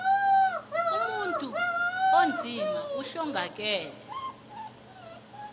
umuntu onzima uhlongakele